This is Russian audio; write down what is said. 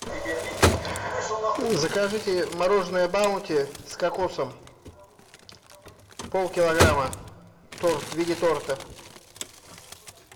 закажите мороженое баунти с кокосом пол килограмма торт в виде торта